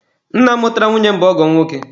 Nna mụtara nwunye m bụ ọgọ m nwoke.